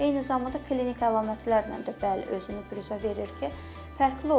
Eyni zamanda klinik əlamətlərlə də bəli, özünü büruzə verir ki, fərqli olur.